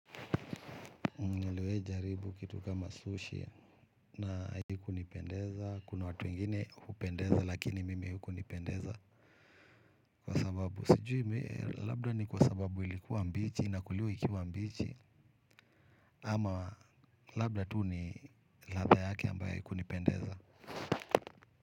Nimewahi jaribu kitu kama sushi na hakikunipendeza kuna watu wengine hupendeza lakini mimi haikunipendeza kwa sababu sijui labda ni kwa sababu ilikuwa mbichi inakuliwa ikiwa mbichi ama labda tu ni ladha yake ambayo haiku nipendeza.